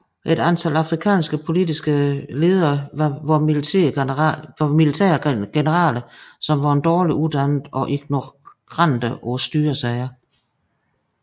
Et antal afrikanske politiske ledere var militære generaler som var dårlig uddannet og ignorante på styresager